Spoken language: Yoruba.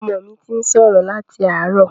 Ọmọ mi ti ń sọ̀rọ̀ láti àárọ̀.